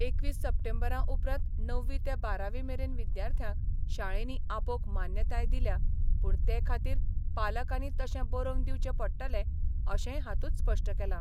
एकवीस सप्टेंबरा उपरांत णववी ते बारावी मेरेन विद्यार्थ्यांक शाळेंनी आपोवंक मान्यताय दिल्या, पुण ते खातीर पालकांनी तशें बरोवन दिवचें पडटले अशेय हातुंत स्पष्ट केला.